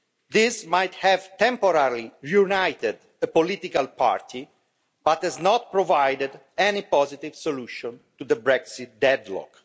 This might have temporarily united a political party but it has not provided any positive solution to the Brexit deadlock.